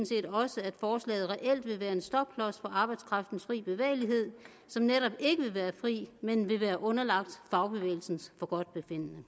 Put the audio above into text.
set også at forslaget reelt vil være en stopklods for arbejdskraftens fri bevægelighed som netop ikke vil være fri men vil være underlagt fagbevægelsens forgodtbefindende